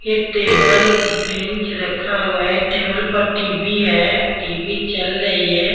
ये table bench रखा हुआ है टेबल पर टी-_वी है टी_वी चल रही है।